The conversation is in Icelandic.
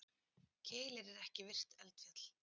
Keilir er ekki virkt eldfjall.